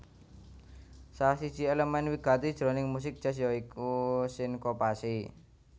Salah siji èlemèn wigati jroning musik jazz ya iku sinkopasi